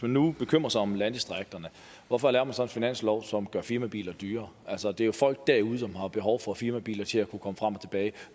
man nu bekymrer sig om landdistrikterne hvorfor laver man så en finanslov som gør firmabiler dyrere det er jo folk derude som har behov for firmabiler til at kunne komme frem og tilbage